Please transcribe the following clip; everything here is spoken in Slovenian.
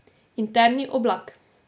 Interni oblak.